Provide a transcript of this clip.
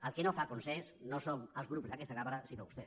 el que no fa consens no són els grups d’aquesta cambra sinó vostè